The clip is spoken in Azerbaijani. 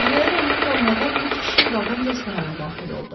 Qəhvəyi rəngli formada üç kişi vaqon restorana daxil oldu.